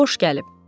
Xoş gəlib.